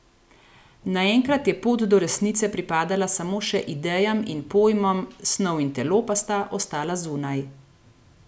Naenkrat je pot do resnice pripadala samo še idejam in pojmom, snov in telo pa sta ostala zunaj.